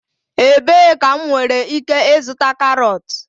Ebee ka m nwere ike ịzụta carrots?